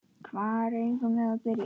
Hvar eigum við að byrja?